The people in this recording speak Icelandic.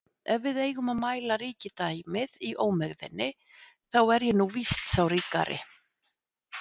Ef við eigum að mæla ríkidæmið í ómegðinni, þá er ég nú víst sá ríkari